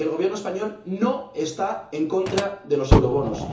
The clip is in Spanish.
Y el Gobierno español no está en contra de los eurobonos.